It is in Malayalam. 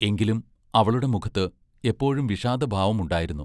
എങ്കിലും അവളുടെ മുഖത്ത് എപ്പോഴും വിഷാദഭാവമുണ്ടായിരുന്നു.